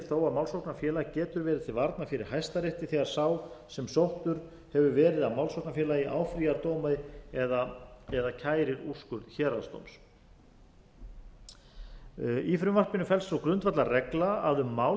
að málsóknarfélag getur verið til varna fyrir hæstarétti þegar sá sem sóttur hefur verið af málsóknarfélagi áfrýjar dómi eða kærir úrskurð héraðsdóms í frumvarpinu felst sú grundvallarregla að um mál